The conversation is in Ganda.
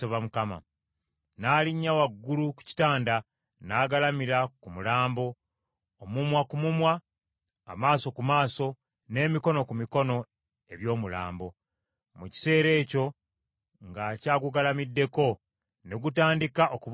N’alinnya waggulu ku kitanda n’agalamira ku mulambo, omumwa ku mumwa, amaaso ku maaso, n’emikono ku mikono eby’omulambo. Mu kiseera ekyo ng’akyagugalamiddeko ne gutandika okubuguumirira.